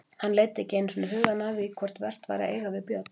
Hann leiddi ekki einu sinni hugann að því hvort vert væri að eiga við Björn.